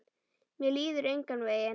Mér líður engan veginn.